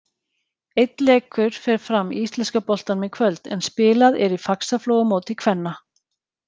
Einn leikur fer fram í íslenska boltanum í kvöld, en spilað er í Faxaflóamóti kvenna.